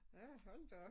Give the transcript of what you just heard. Ja hold da op